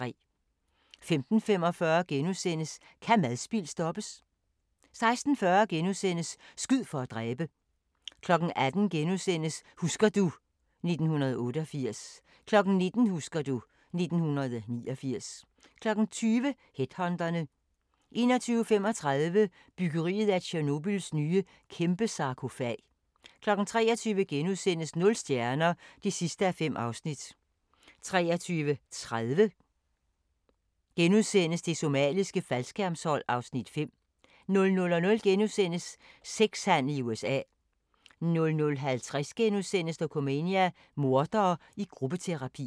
15:45: Kan madspild stoppes? * 16:40: Skyd for at dræbe! * 18:00: Husker du ... 1988 * 19:00: Husker du ... 1989 20:00: Headhunterne 21:35: Byggeriet af Tjernobyls nye kæmpesarkofag 23:00: Nul stjerner (5:5)* 23:30: Det somaliske faldskærmshold (Afs. 5)* 00:00: Sex-handel i USA * 00:50: Dokumania: Mordere i gruppeterapi *